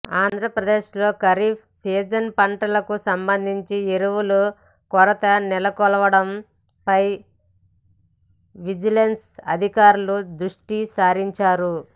ఆంధ్రప్రదేశ్ లో ఖరీఫ్ సీజన్ పంటలకు సంబంధించి ఎరువుల కొరత నెలకొనడంపై విజిలెన్స్ అధికారులు దృష్టి సారించారు